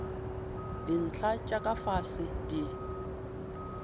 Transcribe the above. dintlha tša ka fase di